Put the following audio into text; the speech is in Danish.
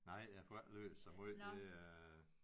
Nej jeg får ikke læst så meget det er